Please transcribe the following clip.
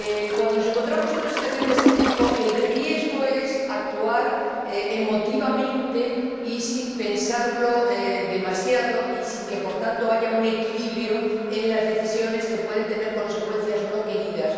Cuando nos encontramos ante una situación de este tipo, el riesgo es actuar emotivamente y sin pensar demasiado y sin que, por tanto, haya un equilibrio en las decisiones, que pueden tener consecuencias no queridas.